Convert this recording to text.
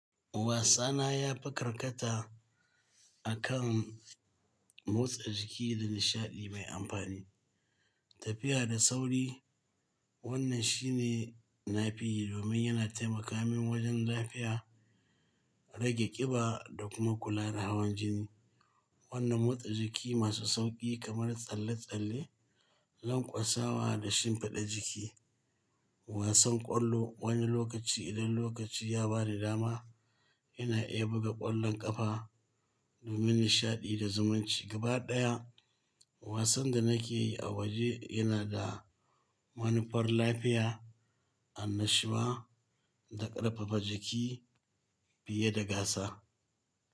Wasana ya fi karkata akan motsa jiki da nishaɗi mai amfani. Tafiya da sauri, wannan shine na fi yi domin yana taimaka min wajen lafiya, rage ƙiba da kuma kula da hawan jini. Wannan motsa jiki masu sauƙi kamar tsalle-tsalle, lanƙwasawa da shimfiɗa jiki. Wasan ƙwallo wani lokaci idan lokaci ya ba ni dama ina iya buga ƙwallon ƙafa domin nishaɗi da zumunci. Gabaɗaya wasan da nake yi a waje yana da manufar lafiya, annashuwa da ƙarfafa jiki fiye da gasa.